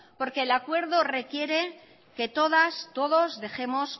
porque el acuerdo que todas todos dejemos